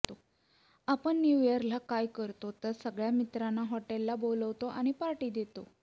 आपण न्यू इयरला काय करतो तर सगळ्या मित्रांना हॉटेलला बोलावतो आणि पार्टी देतो